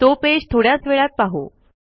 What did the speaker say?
तो पेज थोड्याच वेळात पाहू